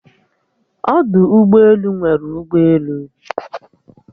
Ọdụ ụgbọelu nwere ụgbọelu